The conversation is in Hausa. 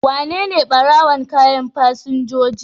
Wanene ɓarawon kayan fasinjoji?